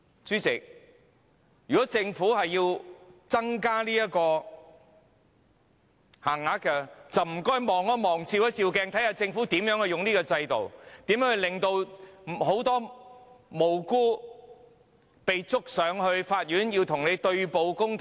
主席，如果政府要增加這項限額，就麻煩政府照鏡，看看政府如何利用法律制度，如何控告多位無辜的人士，令他們要與政府對簿公堂。